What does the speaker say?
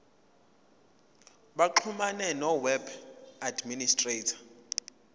baxhumane noweb administrator